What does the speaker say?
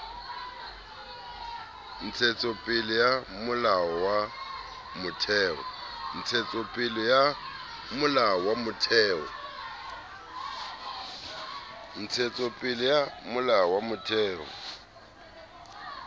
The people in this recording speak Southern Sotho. ntshetsopele ya molao wa motheo